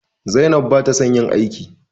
Zainab bata son yin aiki.